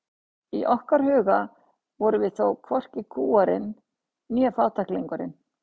Í okkar huga vorum við þó hvorki kúgarinn né fátæklingurinn.